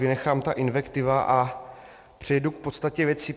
Vynechám ty invektivy a přejdu k podstatě věci.